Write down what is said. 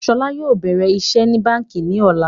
Ṣọlá yóò bẹ̀rẹ̀ iṣẹ́ ní báńkì ní ọ̀la